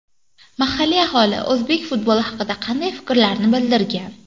Mahalliy aholi o‘zbek futboli haqida qanday fikrlarni bildirgan?